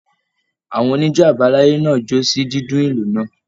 Àwọn onijo abalaye náà jó sí dídùn ìlù náà.